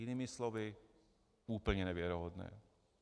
- Jinými slovy, úplně nevěrohodné.